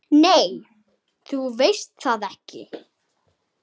Nei, þú veist það ekki.